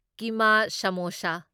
ꯀꯤꯃꯥ samosa